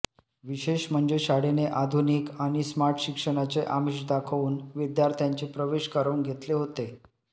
विशेष म्हणजे शाळेने आधुनिक आणि स्मार्ट शिक्षणाचे आमिष दाखवून विद्यार्थ्यांचे प्रवेश करवून घेतले होते